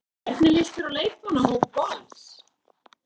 Hvernig líst þér á leikmannahóp Vals?